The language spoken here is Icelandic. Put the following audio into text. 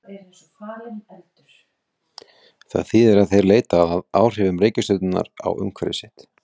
Með því að horfa á pendúlinn sjáum við í rauninni jörðina snúast fyrir augum okkar.